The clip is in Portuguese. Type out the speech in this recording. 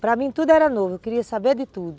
Para mim tudo era novo, eu queria saber de tudo.